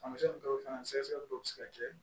Tamasiyɛn dɔw fana sɛgɛsɛgɛli dɔw bɛ se ka kɛ